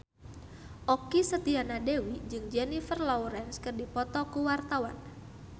Okky Setiana Dewi jeung Jennifer Lawrence keur dipoto ku wartawan